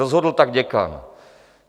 Rozhodl tak děkan.